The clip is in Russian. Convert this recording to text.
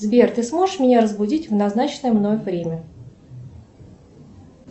сбер ты сможешь меня разбудить в назначенное мной время